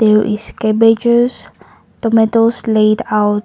there is cabbages tomatoes laid out.